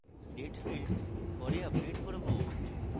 date field পরে update করব